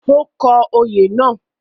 Ó kọ òye náà